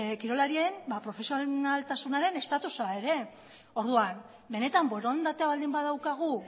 kirolarien profesionaltasunaren statusa ere orduan benetan borondatea baldin badaukagu